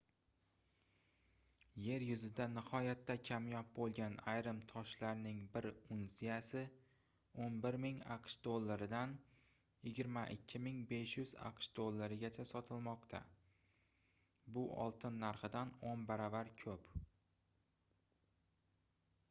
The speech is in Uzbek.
yer yuzida nihoyatda kamyob boʻlgan ayrim toshlarning bir unsiyasi 11 000 aqsh dollaridan 22 500 aqsh dollarigacha sotilmoqda bu oltin narxidan oʻn baravar koʻp